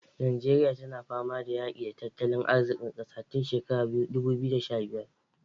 Nijeriya tana fama da yaƙi tattalin arzikin ƙasa tun shekarar dudu biyu da sha biyar